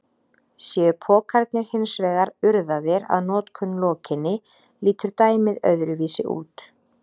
Séu pokarnir hins vegar urðaðir að notkun lokinni lítur dæmið öðruvísi út.